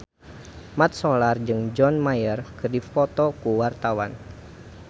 Mat Solar jeung John Mayer keur dipoto ku wartawan